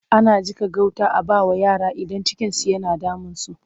Ana jiƙa gauta a ba wa yara idan cikinsu yana damunsu.